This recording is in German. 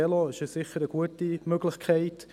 Das Velo ist sicher eine gute Möglichkeit.